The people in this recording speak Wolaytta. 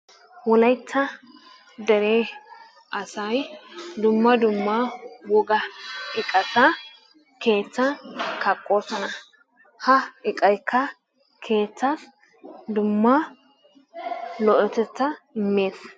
Wolayitta dere asay dumma dumma woga iqata keettan kaqoosona. Ha iqayikka keettaa dumma lo"otetaa immes.